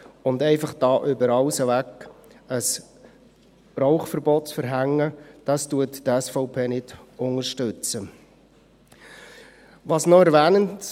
Hier einfach über alles hinweg ein Rauchverbot zu verhängen, unterstützt die SVP nicht.